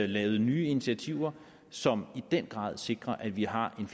lavet nye initiativer som i den grad sikrer at vi har en